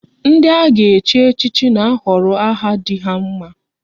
Ndị a ga-echi echichi na ahọrọ aha dị ha mma